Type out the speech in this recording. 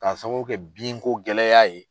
K'a sababu kɛ binko gɛlɛya ye.